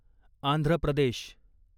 Andhra Pradesh